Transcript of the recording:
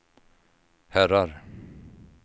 herrar